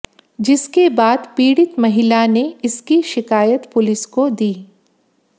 जिसके बाद पीडित महिला ने इसकी शिकायत पुलिस को दी